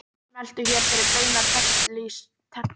Smelltu hér fyrir beina textalýsingu frá Akranesi